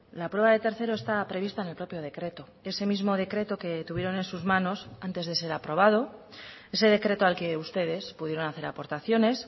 la prueba de tercero está prevista en el propio decreto ese mismo decreto que tuvieron en sus manos antes de ser aprobado ese decreto al que ustedes pudieron hacer aportaciones